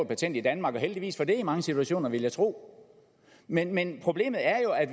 patent i danmark og heldigvis for det i mange situationer ville jeg tro men men problemet er jo at